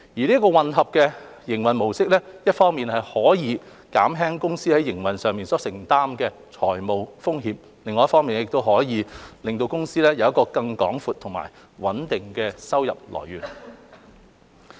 這個混合營運模式一方面可以減輕公司在營運上所承擔的財務風險，另一方面亦可令公司有更廣闊和穩定的收入來源。